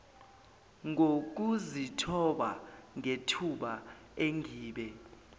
ngokuzithoba ngethuba engibe